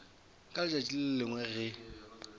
ka letšatši le lengwe ge